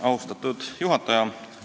Austatud juhataja!